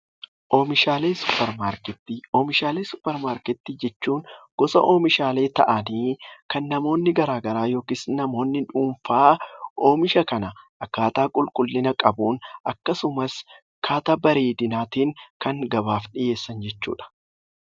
Oomishaalee suppermaarkettii Oomishaalee suppermaarkettii jechuun gosa oomishaalee ta'anii kan namoonni garaagaraa yookiis namoonni dhuunfaa oomisha kana akkaataa qulqullina qabuun akkasumas akkaataa bareedinaatiin kan gabaaf dhiyeessan jechuu dha.